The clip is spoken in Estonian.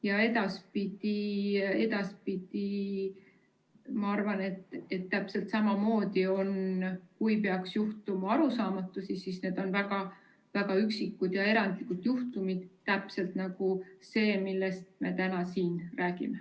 Ma arvan, et edaspidi on täpselt samamoodi, et kui peaks juhtuma arusaamatusi, siis need on väga üksikud ja erandlikud juhtumid, täpselt nagu see, millest me täna siin räägime.